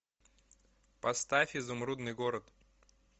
поставь изумрудный город